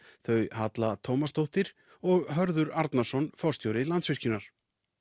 þau Halla Tómasdóttir og Hörður Arnarson forstjóri Landsvirkjunar